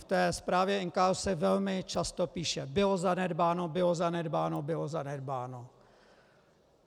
V té zprávě NKÚ se velmi často píše - bylo zanedbáno, bylo zanedbáno, bylo zanedbáno.